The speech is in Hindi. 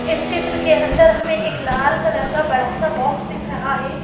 इस चित्र के अंदर हमें एक लाल कलर का बड़ा सा बॉक्स दिख रहा है।